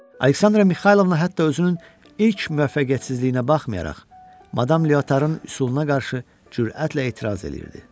Aleksandra Mixaylovna hətta özünün ilk müvəffəqiyyətsizliyinə baxmayaraq, madam Lyotarın üsuluna qarşı cürətlə etiraz eləyirdi.